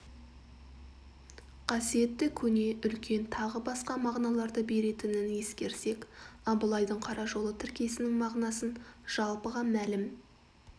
қасиетті көне үлкен тағы басқа мағыналарды беретінін ескерсек абылайдың қара жолы тіркесінің мағынасын жалпыға мәлім